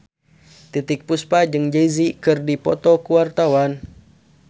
Titiek Puspa jeung Jay Z keur dipoto ku wartawan